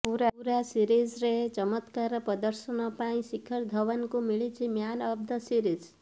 ପୁରା ସିରିଜ୍ରେ ଚମତ୍କାର ପ୍ରଦର୍ଶନ ପାଇଁ ଶିଖର ଧୱନ୍ଙ୍କୁ ମିଳିଛି ମ୍ୟାନ୍ ଅଫ୍ ଦ ସିରିଜ୍